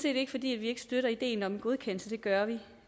ikke fordi vi ikke støtter ideen om en godkendelse det gør vi